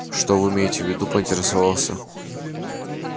что вы имеете в виду поинтересовался